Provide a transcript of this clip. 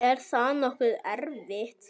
Er það nokkuð erfitt?